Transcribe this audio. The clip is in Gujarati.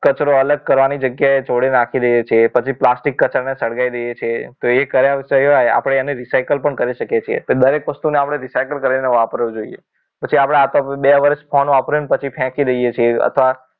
કચરો અલગ કરવાની જગ્યાએ જોડે નાખી દઈએ છીએ પછી પ્લાસ્ટિક કચરાને સળગાવી દઈએ છીએ એ કર્યા સિવાય આપણે એને recycle કરીને વાપરવું જોઈએ પછી આપણે બે વર્ષ phone વાપર્યો પછી ફેંકી દઈએ છીએ અથવા